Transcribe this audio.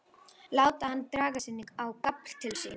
Láta hana draga sig inn á gafl til sín.